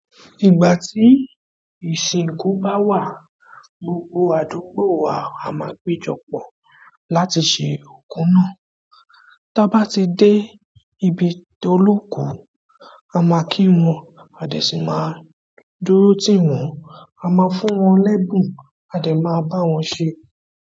Ìgbà tí ìsìnkú bá wà, gbogbo àdúgbò wa a máa péjọ pọ̀ láti ṣe òkú náà. Táa bá ti dé ibi tó lóku, a máa kí wọn, à de sí máa dúró tì wọ́n, a máa fún wọn lẹ́bùn, a de máa bá wọn ṣe.